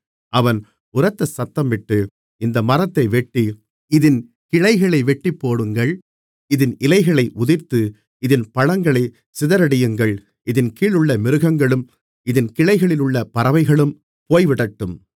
அவன் உரத்த சத்தமிட்டு இந்த மரத்தை வெட்டி இதின் கிளைகளை வெட்டிப்போடுங்கள் இதின் இலைகளை உதிர்த்து இதின் பழங்களைச் சிதறடியுங்கள் இதின் கீழுள்ள மிருகங்களும் இதின் கிளைகளிலுள்ள பறவைகளும் போய்விடட்டும்